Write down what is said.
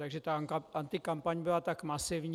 Takže ta antikampaň byla tak masivní.